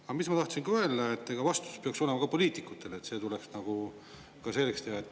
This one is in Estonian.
Aga mis ma tahtsin öelda, et ega vastutus peaks olema ka poliitikutel, see tuleks ka selgeks teha.